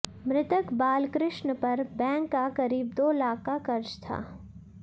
मृतक बालकृष्ण पर बैंक का करीब दो लाख का कर्ज था